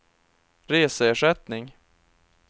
reseersättning